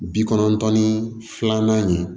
Bi kɔnɔntɔn ni filanan in